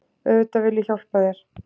Auðvitað vil ég hjálpa þér.